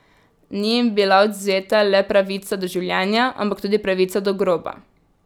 Ni jim bila odvzeta le pravica do življenja, ampak tudi pravica do groba.